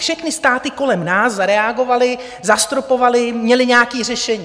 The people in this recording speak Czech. Všechny státy kolem nás zareagovaly, zastropovaly, měly nějaké řešení.